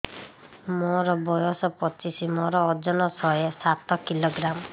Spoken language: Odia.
ମୋର ବୟସ ପଚିଶି ମୋର ଓଜନ ଶହେ ସାତ କିଲୋଗ୍ରାମ